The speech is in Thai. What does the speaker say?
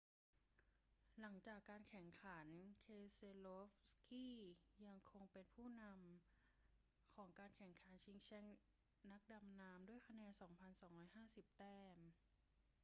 หลังจากการแข่งขัน keselowski ยังคงเป็นผู้นำของการแข่งขันชิงแชมป์นักดำน้ำด้วยคะแนน 2,250 แต้ม